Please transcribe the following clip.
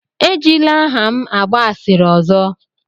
Ejila aha m agba asịrị ọzọ!